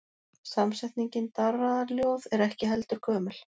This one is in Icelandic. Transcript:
Samsetningin darraðarljóð er ekki heldur gömul.